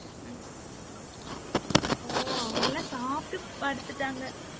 உம் ஓ அவங்கெல்லாம் சாப்பிட்டு படுத்துட்டாங்க.